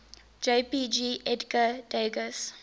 jpg edgar degas